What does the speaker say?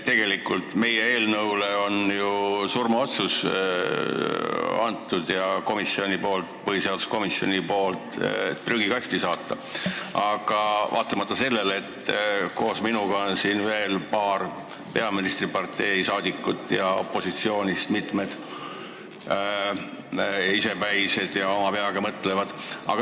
Tegelikult on põhiseaduskomisjon meie eelnõule surmaotsuse langetanud, see saadetakse prügikasti vaatamata sellele, et koos minuga on siin veel paar peaministripartei esindajat ja opositsiooni saadikuid, kes on isepäised ja mõtlevad oma peaga.